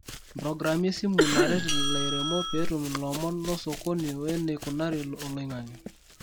Mprogrami esimu naret lairemok petum lomon losokoni weneikunari oloingange.